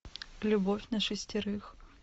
любовь на шестерых